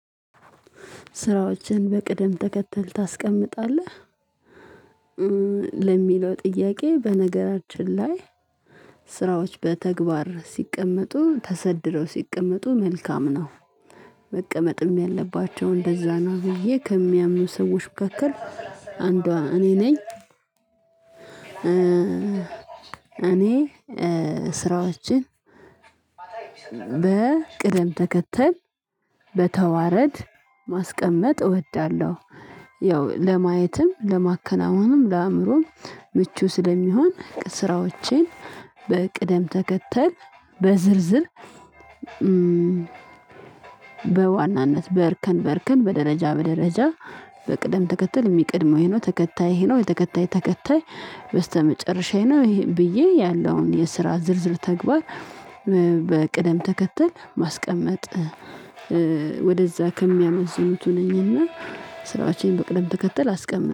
ስራዎችን በቅደም ተከተል ታስቀምጣለህ? ለሚለው ጥያቄ በነገራችን ላይ ስራዎች በተግባር ሲቀመጡ ተሰድረው ሲቀመጡ መልካም ነው። መቀመጥም ያለባቸው እንደዛ ነው ብዬ ከሚያምኑ ሰዎች መካከል አንዷ እኔ ነኝ። እኔ ስራዎችን በቅደም ተከተል፣ በተዋረድ ማስቀመጥ እወዳለሁ። ያው ለማየትም፣ ለማከናወንም፣ ለአእምሮም ምቹ ስለሚሆን ስራዎቼን በቅደም ተከተል፣ በዝርዝር በዋናነት በእርከን፣ በእርከን፤ በደረጃ፣ በደረጃ በቅደም ተከተል የሚቀድመው ይሄ ነው፣ ተከታይ ይሄ ነው፣ የተከታይ ተከታይ በስተመጨረሻ ይሄ ነው፣ ብዬ ያለውን የስራ ዝርዝር ተግባር በቅደም ተከተል ማስቀመጥ ወደዛ ከሚያመዝኑት ነኝና ስራዎችን በቅደም ተከተል አስቀምጠዋለሁ።